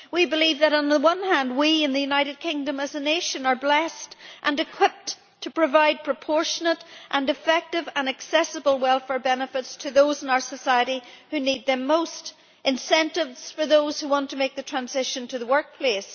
We believe that, on the one hand, we in the United Kingdom as a nation are blessed and well equipped to provide proportionate, effective and accessible welfare benefits to those in our society who need them most incentives for those who want to make the transition to the workplace